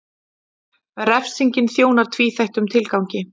Refsingin þjónar tvíþættum tilgangi.